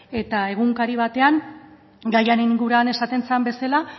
eta egunkari batean gaiaren inguruan esaten zen bezala